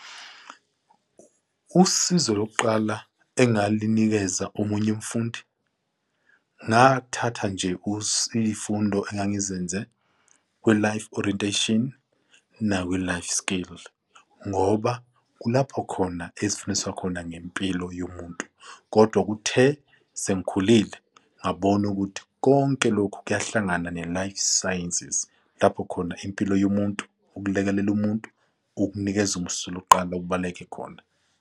Usizo lokuqala engalinikeza omunye umfundi. Ngathatha nje kusifundo engangizenze we-Life Orientation nawe-Life Skill ngoba kulapho khona esifundiswa khona ngempilo yomuntu. Kodwa kuthe sengikhulile ngabona ukuthi konke lokhu kuyahlangana ne-Life Sciences lapho khona impilo yomuntu ukulekelela umuntu ukunikeza umsu lokuqala okubaleke khona.